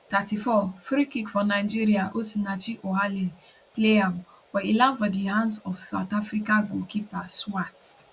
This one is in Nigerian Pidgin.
34 freekick for nigeria osinachi ohale play am but e land for di hands of south africa goalkeeper swart